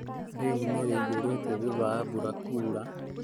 Rũĩ nĩ rũiyũru thutha wa mbura kuura